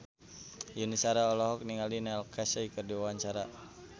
Yuni Shara olohok ningali Neil Casey keur diwawancara